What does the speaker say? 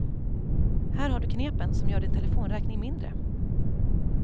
Här har du knepen som gör din telefonräkning mindre.